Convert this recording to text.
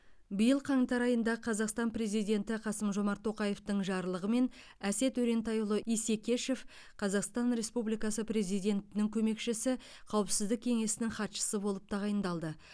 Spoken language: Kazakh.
биыл қаңтар айында қазақстан президенті қасым жомарт тоқаевтың жарлығымен әсет өрентайұлы исекешев қазақстан республикасы президентінің көмекшісі қауіпсіздік кеңесінің хатшысы болып тағайындалды